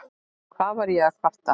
Hvað var ég að kvarta?